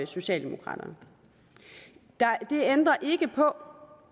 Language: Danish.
socialdemokraterne det ændrer ikke på